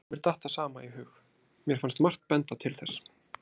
Jú, mér datt það sama í hug, mér fannst margt benda til þess.